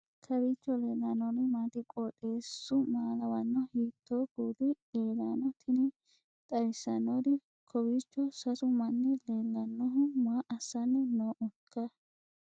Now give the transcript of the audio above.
kowiicho leellannori maati ? qooxeessu maa lawaanno ? hiitoo kuuli leellanno ? tini xawissannori kowiicho sasu manni leellannohu maa assanni noohoiika